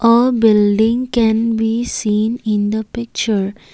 a building can be seen in the picture.